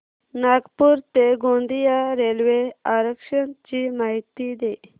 नागपूर ते गोंदिया रेल्वे आरक्षण ची माहिती दे